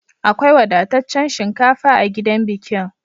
Akwai wadataccen shinkafa a gidan bikin.